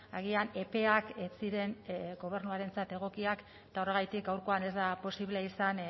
agian epeak ez ziren gobernuarentzat egokiak eta horregatik gaurkoan ez da posible izan